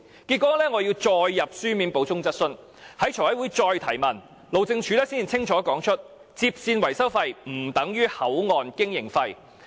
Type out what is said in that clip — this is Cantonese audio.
結果我要再提交書面補充質詢，在財委會再提問，路政署才清楚指出，接線維修費不等於口岸經營費。